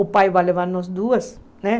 O pai vai levar nós duas, né?